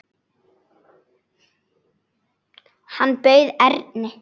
Hann bauð Erni.